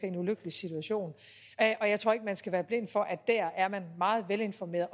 en ulykkelig situation og jeg tror ikke skal være blinde for at der er man meget velinformeret